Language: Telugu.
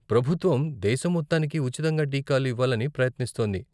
ప్రభుత్వం దేశం మొత్తానికి ఉచితంగా టీకాలు ఇవ్వాలని ప్రయత్నిస్తోంది.